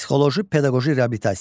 Psixoloji-pedaqoji reabilitasiya.